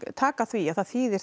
taka því að það þýðir